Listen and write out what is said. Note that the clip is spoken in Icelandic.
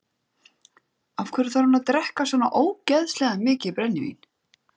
Af hverju þarf hann að drekka svona ógeðslega mikið brennivín?